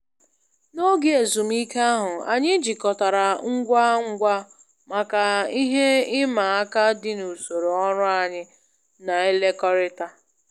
N'oge ezumike ahụ, anyị jikọtara ngwa ngwa maka ihe ịma aka dị n'usoro ọrụ anyị na-ekekọrịta